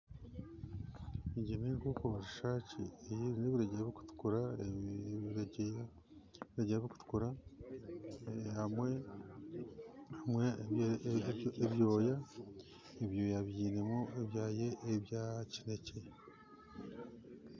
Egi n'enkoko rushaaki eine ebireju birukutukura hamwe n'ebyoya byinemu ebya kinekye